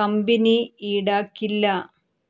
company ഈടാക്കില്ല